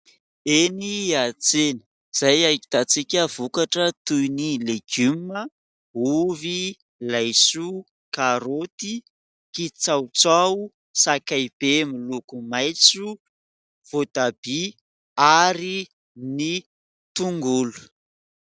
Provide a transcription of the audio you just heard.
Eny an-tsena izay ahitantsika vokatra toy ny legioma, ovy, laisoa, karoty, kitsahotsaho, sakaibe miloko maitso, voatabia ary ny tongolo.